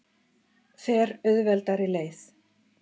Fer auðveldari leið.